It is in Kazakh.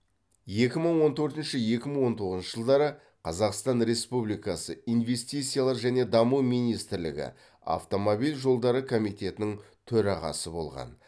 екі мың он төртінші екі мың он тоғызыншы жылдары қазақстан республикасы инвестициялар және даму министрлігі автомобиль жолдары комитетінің төрағасы болған